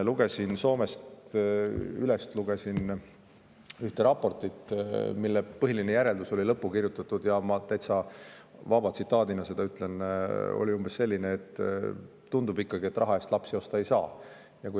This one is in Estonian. Lugesin Ylest Soome kohta ühte raportit, mille põhiline järeldus oli lõppu kirjutatud, ja ma ütlen seda täitsa vabas sõnastuses, see oli umbes selline: tundub ikkagi, et raha eest lapsi osta ei saa.